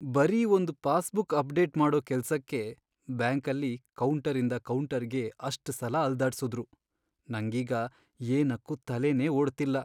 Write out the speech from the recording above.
ಬರೀ ಒಂದ್ passbook update ಮಾಡೋ ಕೆಲ್ಸಕ್ಕೆ ಬ್ಯಾಂಕಲ್ಲಿ ಕೌಂಟರಿಂದ ಕೌಂಟರ್ಗೆ ಅಷ್ಟ್ ಸಲ ಅಲ್ದಾಡ್ಸುದ್ರು, ನಂಗೀಗ ಏನಕ್ಕೂ ತಲೆನೇ ಓಡ್ತಿಲ್ಲ.